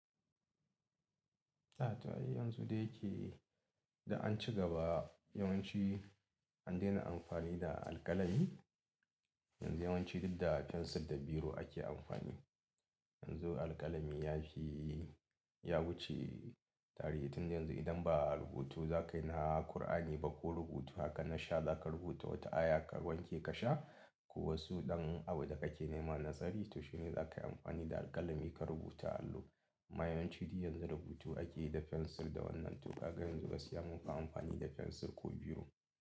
A, ta hanyar yanzu dai yake da an ci gaba yawanci an daina amfani da alƙalami. Yanzu yawanci duk da fensir da biro ake amfani. Yanzu alƙalami yashi ya wuce tarihi tun yanzu idan ba rubutu za ka yi na Kur'ani ba ko rubutu haka na sha za ka rubuta wata aya ka wanke ka sha ko wasu ɗan abu da kake nema nasari, to shi ne za ka yi amfani da alƙalami ka rubuta alloh. Ma yawanci duk yanzu rubutu ake yi da fensir da wannan tuƙa, ganyen zogale zamu ka amfani da fensir ko biro.